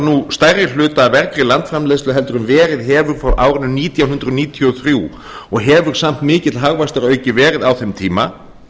nú stærri hluta af vergri landsframleiðslu heldur en verið hefur frá árinu nítján hundruð níutíu og þrjú og hefur samt mikill hagvöxtur aukist verulega á þeim tíma